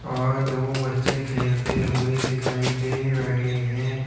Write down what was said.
और दो बच्चे खेलते हुए दिखाई दे रहे हैं।